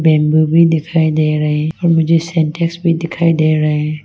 Bamboo भी दिखाई दे रहे और मुझे सेंटेक्स भी दिखाई दे रहे।